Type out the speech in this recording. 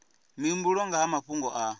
mihumbulo nga ha mafhungo a